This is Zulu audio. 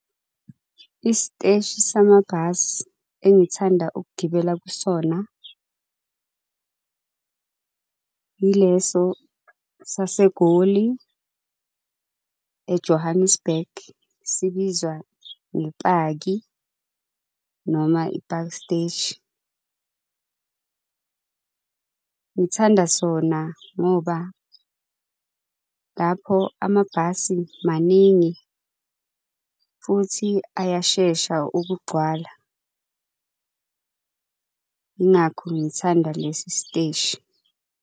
Isiteshi samabhasi engithanda ukugibela kusona ileso saseGoli, e-Johannesburg, sibizwa ngePaki noma iPaki Steshi. Ngithanda sona ngoba, lapho amabhasi maningi futhi ayashesha ukugcwala. Yingakho ngithanda lesi steshi.